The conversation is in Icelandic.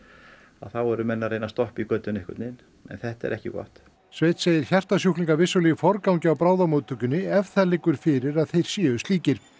þá eru menn að reyna að stoppa í götin einhvern veginn en þetta er ekki gott sveinn segir hjartasjúklinga vissulega í forgangi á bráðamóttökunni ef það liggur strax fyrir að þeir séu slíkir